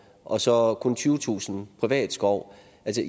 og så kun tyvetusind privat skov